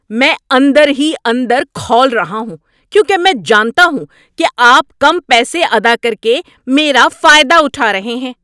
میں اندر ہی اندر کھول رہا ہوں کیونکہ میں جانتا ہوں کہ آپ کم پیسے ادا کر کے میرا فائدہ اٹھا رہے ہیں۔